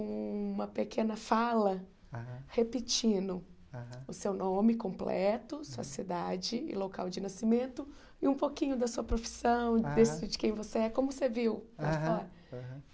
uma pequena fala aham repetindo aham o seu nome completo, hum sua cidade e local de nascimento, e um pouquinho da sua profissão, aham de quem você é, como você viu aham lá de fora. Aham